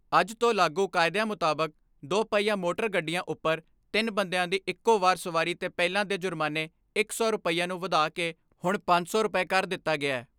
ਅੱਜ ਤੋਂ ਲਾਗੂ ਕਾਯਦਿਆਂ ਮੁਤਾਬਕ ਦੁਪਹਿਆ ਮੋਟਰ ਗੱਡੀਆਂ ਉੱਪਰ ਤਿੰਨ ਬੰਦਿਆਂ ਦੀ ਇੱਕੋ ਵਾਰ ਸਵਾਰੀ ਤੇ ਪਹਿਲਾਂ ਦੇ ਜੁਰਮਾਨੇ ਇੱਕ ਸੌ ਰੁਪੈਆਂ ਨੂੰ ਵਧਾ ਕੇ ਹੁਣ ਪੰਜ ਸੌ ਰੁਪਏ ਕਰ ਦਿੱਤਾ ਗਿਐ।